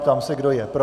Ptám se, kdo je pro.